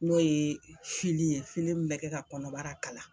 N'o ye fili ye fili min bɛ kɛ ka kɔnɔbara kala.